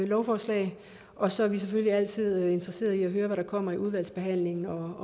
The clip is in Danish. lovforslag og så er vi selvfølgelig altid interesseret i at høre hvad der kommer i udvalgsbehandlingen og